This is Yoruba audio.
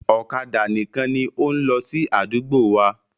Ọ̀kadà nìkan ni ó ń lọ sí àdúgbò wa.